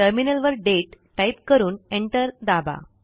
टर्मिनलवर date type करून enter दाबा